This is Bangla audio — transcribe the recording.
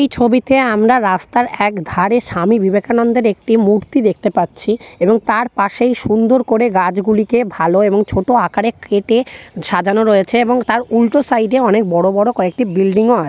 এই ছবিতে আমরা রাস্তার একধারে স্বামী বিবেকানন্দের একটি মূর্তি দেখতে পাচ্ছি এবং তার পাশেই সুন্দর করে গাছগুলিকে ভালো এবং ছোট আকারে কেটে সাজানো রয়েছে এবং তার উল্টো সাইড -এ অনেক বড় বড় কয়েকটি বিল্ডিং ও আ--